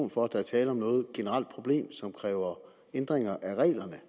for at der er tale om et generelt problem som kræver ændringer af reglerne